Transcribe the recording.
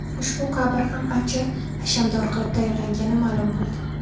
Ushbu qabr ham ancha hashamdor qilib tayyorlangani ma’lum bo‘ldi.